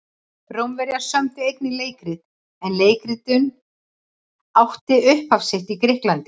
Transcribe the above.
Rómverjar sömdu einnig leikrit en leikritun átti upphaf sitt í Grikklandi.